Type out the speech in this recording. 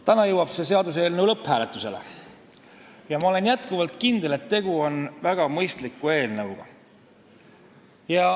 Täna jõuab see seaduseelnõu lõpphääletusele ja ma olen endiselt kindel, et tegu on väga mõistliku eelnõuga.